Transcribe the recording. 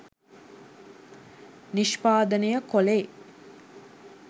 නිෂ්පාදනය කොළේ